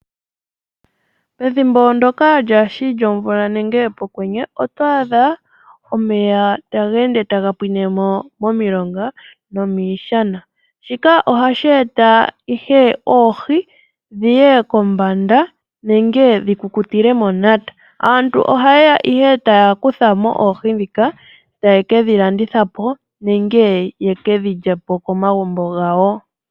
Pethimbo ndoka lyaashi lyomvula nenge pokwenye oto adha omeya taga ende taga pwinemo momilonga no miishana, shika ohashi eta ihe oohi dhiye kombanda nenge dhi kukutile monata. Aantu ohaye ya ihe taya kuthamo oohi dhika taye ke dhi landithapo, nenge ye ke dhi lyepo komagumbo gawo.